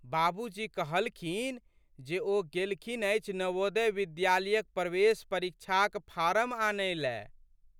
बाबूजी कहलखिन जे ओ गेलखिन अछि नवोदय विद्यालयक प्रवेश परीक्षाक फारम आनैले।